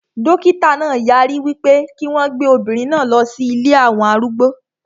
Dókítà náà yarí wípé kí wọn gbé obìnrin náà lọ sí ilée àwọn arúgbó